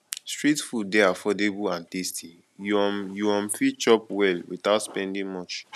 street food dey affordable and tasty you um you um fit chop well without spending much